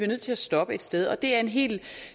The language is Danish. nødt til at stoppe et sted det er en helt